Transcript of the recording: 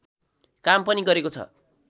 काम पनि गरेको छ